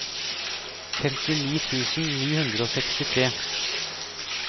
femtini tusen ni hundre og sekstitre